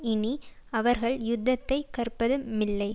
இனி அவர்கள் யுத்தத்தைக் கற்பதுமில்லை